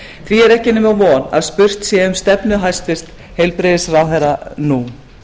því er ekki nema von að spurt sé um stefnu hæstvirtur heilbrigðisráðherra nú